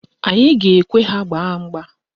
Anyị ga-ekwe ha gbaa mgba.